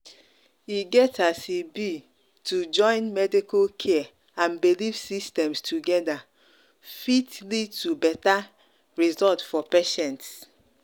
e get as e be to join medical care and belief systems together fit lead to better result for patients.